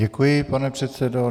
Děkuji, pane předsedo.